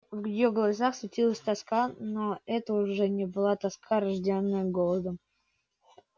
в её глазах светилась тоска но это уже не была тоска рождённая голодом